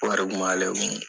Wari kun b'ale kun